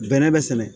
Bɛnɛ bɛ sɛnɛ